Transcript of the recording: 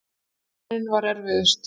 Byrjunin var erfiðust.